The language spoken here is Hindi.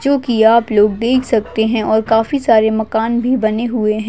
जोकि आप लोग देख सकते है और काफी सारे मकान भी बने हुए है।